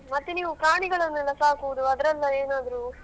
ಮತ್ತೆ ನೀವು ಪ್ರಾಣಿಗಳನೆಲ್ಲ ಸಾಕುದು ಅದ್ರಲ್ಲ ಏನಾದ್ರು .